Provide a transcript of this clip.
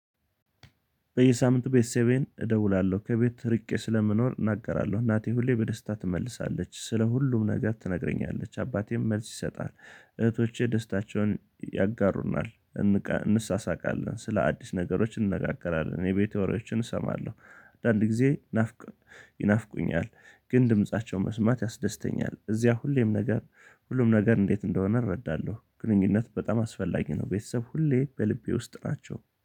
በየሳምንቱ ቤተሰቤን እደውላለሁ ከቤት ርቄ ስለምኖር እናገራለሁ እናቴ ሁሌ በደስታ ትመልሳለች ስለ ሁሉም ነገር ትነግረኛለች አባቴም መልስ ይሰጣል እህቶቼ ደስታቸውን ያጋሩናል። እንሳሳቃለን ስለ አዲስ ነገሮች እንነጋገራለን የቤት ወሬዎችን እሰማለሁ። አንዳንድ ጊዜ ናፍቅ ይናፍቁኛል ግን ድምፃቸው መስማት ያስደስተኛል። እዚያ ሁሌም ነገር ሁሉም ነገር እንዴት እንደሆነ እረዳለሁ። ግንኙነት በጣም አስፈላጊ ነው። ቤተሰብ ሁሌ በልቤ ውስጥ ናቸው